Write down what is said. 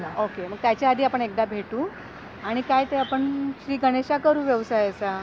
Okay मग त्याच्या आधी आपण एकदा भेटू आणि काय ते आपण श्री गणेशा करू व्यवसायाचा.